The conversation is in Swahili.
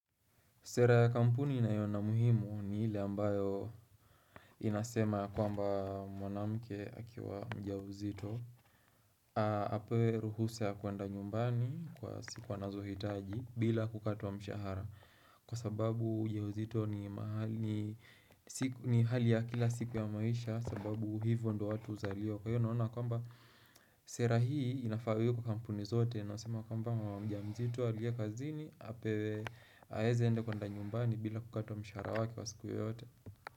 Sera ya kampuni ninayoona muhimu ni hile ambayo inasema ya kwamba mwanamke akiwa mjamzito Apewe ruhusa ya kuenda nyumbani kwa siku anazo hitaji bila kukatwa mshahara Kwa sababu ujauzito ni hali ya kila siku ya maisha sababu hivyo ndo watu uzaliwa Kwa hiyo naona kwamba sera hii inafa iwe kwa kampuni zote Naosema kwamba mama mjamzito aliye kazini Apewe aheze ende kuenda nyumbani bila kukatwa mshahara wake wa siku yoyote.